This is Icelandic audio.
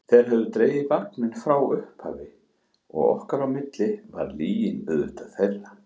Þeir höfðu dregið vagninn frá upphafi og okkar á milli var lygin auðvitað þeirra.